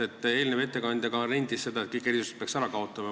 Ka eelnev ettekandja nentis, et kõik erisused peaks ära kaotama.